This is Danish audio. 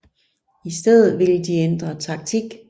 I stedet ville de ændre taktik